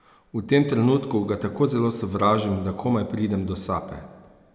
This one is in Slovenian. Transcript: V tem trenutku ga tako zelo sovražim, da komaj pridem do sape.